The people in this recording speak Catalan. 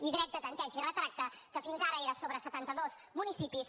i dret de tanteig i retracte que fins ara era sobre setanta dos municipis